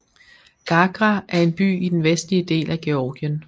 Gagra er en by i den vestlige del af Georgien